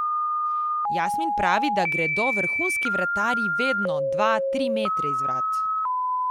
Jasmin pravi, da gredo vrhunski vratarji vedno dva, tri metre iz vrat.